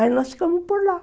Aí nós ficamos por lá.